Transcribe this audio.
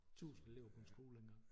1000 elever på en skole dengang